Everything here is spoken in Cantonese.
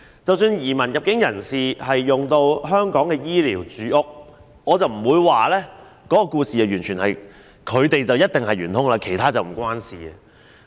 即使移民和入境人士使用香港的醫療、住屋資源，我不會斷言他們便是元兇，其他人與此無關。